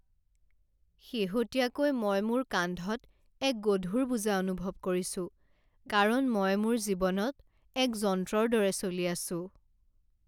শেহতীয়াকৈ মই মোৰ কান্ধত এক গধুৰ বোজা অনুভৱ কৰিছো কাৰণ মই মোৰ জীৱনত এক যন্ত্ৰৰ দৰে চলি আছোঁ।